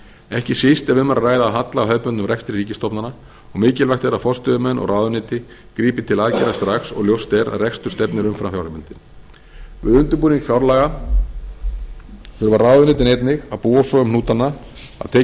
ekki síst ef um er að ræða halla á hefðbundnum rekstri ríkisstofnana og mikilvægt er að forstöðumenn og ráðuneyti grípi til aðgerða strax og ljóst er að rekstur stefnir umfram fjárheimildir við undirbúning fjárlaga þurfa ráðuneytin einnig að búa svo um hnútana að tekið sé